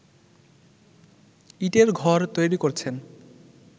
ইটের ঘর তৈরি করছেন